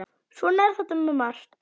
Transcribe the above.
Svona er þetta með margt.